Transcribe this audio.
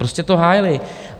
Prostě to hájili.